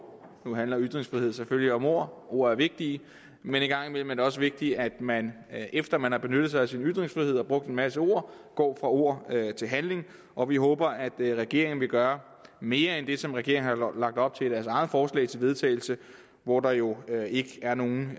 nu handler ytringsfrihed selvfølgelig om ord ord er vigtige men en gang imellem er det også vigtigt at man efter man har benyttet sig af sin ytringsfrihed og brugt en masse ord går fra ord til handling og vi håber at regeringen vil gøre mere end det som regeringen har lagt op til i deres eget forslag til vedtagelse hvor der jo ikke er nogen